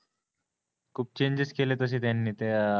खूप चेंजेस केले त्यांनी तसे त्या